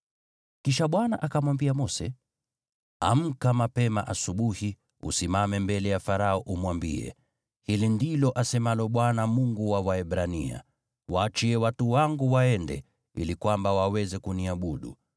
Kisha Bwana akamwambia Mose, “Amka mapema asubuhi, usimame mbele ya Farao, umwambie, ‘Hili ndilo asemalo Bwana , Mungu wa Waebrania: Waachie watu wangu waende, ili kwamba waweze kuniabudu,